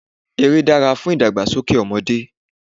eré dára fún ìdàgbàsókè ọmọdé